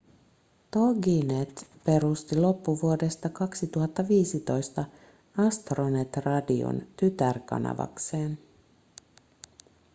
toginet perusti loppuvuodesta 2015 astronet radion tytärkanavakseen